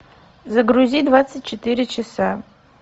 загрузи двадцать четыре часа